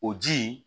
O ji in